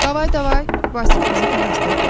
Davay davay, Vasif bizi tələstirdi.